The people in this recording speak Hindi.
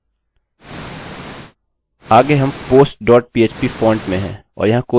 लेकिन यह दो यूज़र क्यों नहीं दिखा रहा है